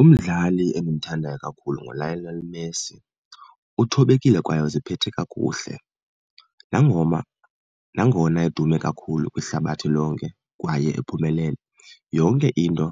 Umdlali endimthandayo kakhulu nguLionel Messi. Uthobekile kwaye uziphethe kakuhle nangona edume kakhulu kwihlabathi lonke kwaye ephumelele. Yonke into